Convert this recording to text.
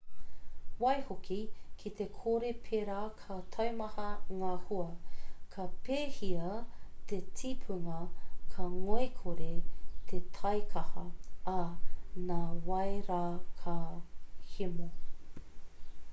waihoki ki te kore pērā ka taumaha ngā hua ka pēhia te tipunga ka ngoikore te taikaha ā nā wai rā ka hemo